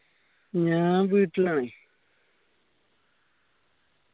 ഞാൻ വീട്ടിലാണ്